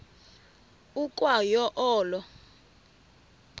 ukwa yo olo